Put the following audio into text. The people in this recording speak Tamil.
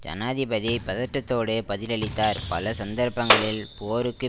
ஜனாதிபதி பதட்டத்தோடு பதிலளித்தார் பல சந்தர்ப்பங்களில் போருக்கு